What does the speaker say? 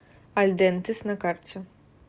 альдентис на карте